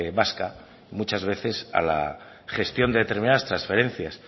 vasca muchas veces a la gestión de determinadas transferencias